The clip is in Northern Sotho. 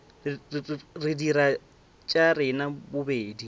re dire tša rena bobedi